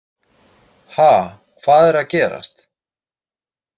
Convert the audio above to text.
Ha, hvað er að gerast?